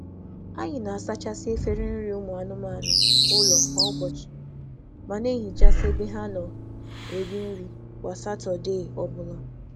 Anyị na-asa efere efere anụmanụ kwa ụbọchị, ma na-asacha ebe a na-akụ ha nri n’ụbọchị Satọdee obula